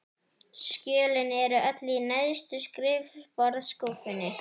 Skjölin eru öll í neðstu skrifborðsskúffunni.